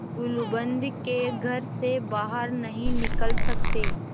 गुलूबंद के घर से बाहर नहीं निकल सकते